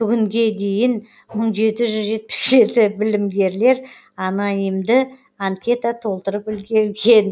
бүгінге дейін мың жеті жүз жетпіс жеті білімгерлер анонимді анкета толтырып үлгерген